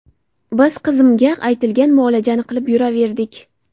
Biz qizimga aytilgan muolajani qilib yuraverdik.